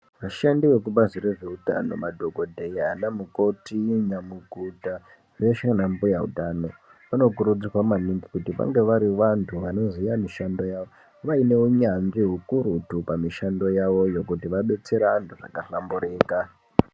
Vashandi vekubazi rezveutano madhokodheya, vanamukoti, nyamukuta veshe vana mbuya utano vanokurudzirwa maningi kuti vange vari vanthu vanoziye mishando yawoo vaine unyanzvi ukurutu pamishando yawoyo kuti vadetsere vanthu zvakahlamburika.